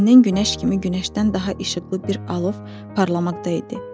Dankonun günəş kimi günəşdən daha işıqlı bir alov parlamakta idi.